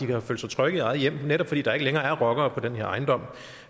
kan føle sig trygge i eget hjem netop fordi der ikke længere er rockere på den her ejendom